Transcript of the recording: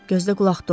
Gözdə qulaqda ol.